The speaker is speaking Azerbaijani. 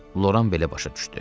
Loran belə başa düşdü.